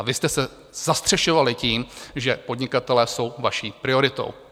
A vy jste se zastřešovali tím, že podnikatelé jsou vaší prioritou.